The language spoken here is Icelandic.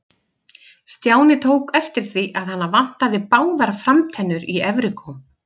Stjáni tók eftir því að hana vantaði báðar framtennur í efri góm.